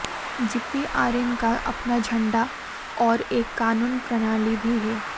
GPRN का अपना झंडा और एक कानून प्रणाली भी है